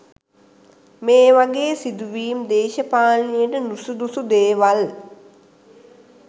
මේ වගේ සිදුවීම් දේශපාලනයට නුසුදුසු දේවල්.